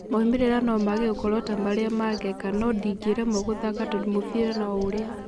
Maumĩrĩra nomage gũkorwo tamarĩa ma-Geka no-ndingĩremwo gũthaka tondũ mũbira no-ũrĩa.